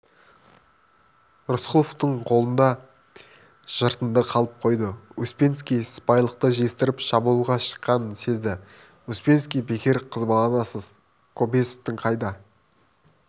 рысқұловтың қолында жыртынды қалып қойды успенский сыпайылықты жиыстырып шабуылға шыққанын сезді успенский бекер қызбаланасыз кобозевтің қайда